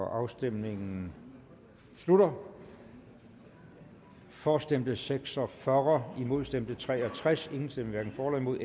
afstemningen slutter for stemte seks og fyrre imod stemte tre og tres hverken for eller imod